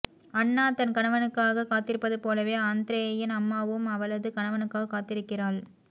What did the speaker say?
அன்னா தன் கணவனுக்காக காத்திருப்பது போலவே ஆந்த்ரேயின் அம்மாவும் அவளது கணவனுக்காக காத்திருக்கிறாள்